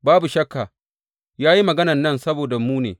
Babu shakka, ya yi maganan nan saboda mu ne.